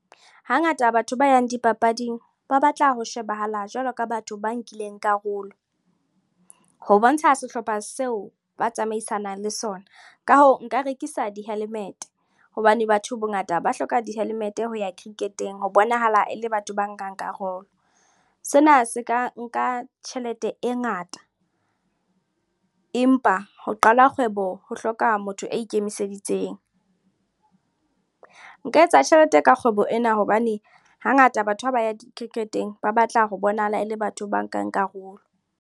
Hangata batho ba yang dipapading ba batla ho shebahala jwalo ka batho ba nkileng karolo ho bontsha sehlopha seo ba tsamaisanang le sona. Ka hoo, nka rekisa di-helmet hobane batho bongata ba hloka di-helmet ho ya cricket-eng ho bonahala e le batho ba nkang karolo. Sena se ka nka tjhelete e ngata, empa ho qala kgwebo ho hloka motho a ikemiseditseng. Nka etsa tjhelete ka kgwebo ena hobane hangata batho ha ba ya cricket-eng ba batla ho bonahala e le batho ba nkang karolo.